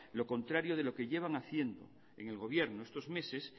lo contrario de lo que llevan haciendo en el gobierno estos meses